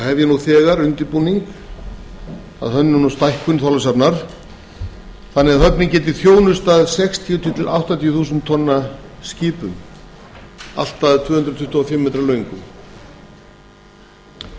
nú þegar undirbúning að hönnun og stækkun þorlákshafnar svo hún geti þjónustað allt að sextíu þúsund til áttatíu þúsund tonna og tvö hundruð tuttugu og fimm metra löng skip